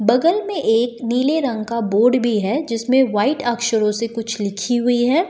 बगल में एक नीले रंग का बोर्ड भी है जिसमें वाइट अक्षरों से कुछ लिखी हुई है।